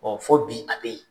fɔ bi a bɛ yen.